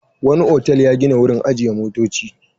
Wani otal ya gina wurin ajiye motoci.